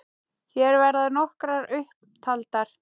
Hér verða nokkrar upp taldar